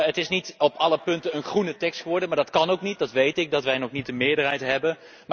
Het is niet op alle punten een groene tekst geworden maar dat kan ook niet, zolang wij nog niet de meerderheid hebben.